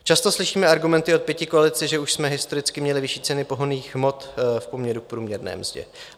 Často slyšíme argumenty od pětikoalice, že už jsme historicky měli vyšší ceny pohonných hmot v poměru k průměrné mzdě.